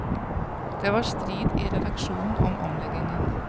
Det var strid i redaksjonen om omleggingen.